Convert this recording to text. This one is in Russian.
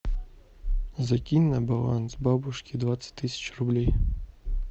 закинь на баланс бабушке двадцать тысяч рублей